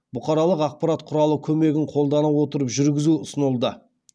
бұқаралық ақпарат құралы көмегін қолдана отырып жүргізу ұсынылды